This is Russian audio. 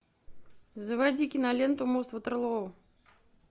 заводи киноленту мост ватерлоо